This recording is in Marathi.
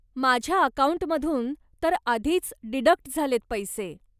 माझ्या अकाऊंटमधून तर आधीच डिडक्ट झालेत पैसे.